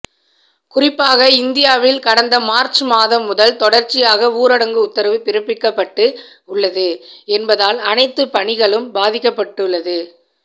குறிப்பாக இந்தியாவில் கடந்த மார்ச் மாதம் முதல் தொடர்ச்சியாக ஊரடங்கு உத்தரவு பிறப்பிக்கப்பட்டு உள்ளது என்பதால் அனைத்து பணிகளும் பாதிக்கப்பட்டுள்ளது